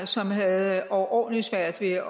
som havde overordentlig svært ved at